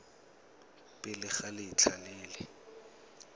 pele ga letlha le le